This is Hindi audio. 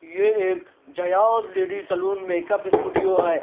ये एक जयाद लेडी सलून मेकअप स्टूडियो है।